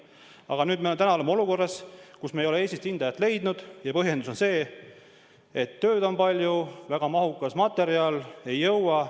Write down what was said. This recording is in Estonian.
Aga nüüd me oleme täna olukorras, kus me ei ole Eestist hindajat leidnud, ja põhjendus on see, et tööd on palju, väga mahukas materjal, ei jõua.